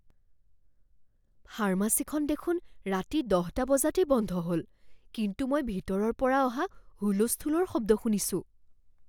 ফাৰ্মাচীখন দেখোন ৰাতি দহটা বজাতেই বন্ধ হ'ল কিন্তু মই ভিতৰৰ পৰা অহা হুলস্থূলৰ শব্দ শুনিছোঁ।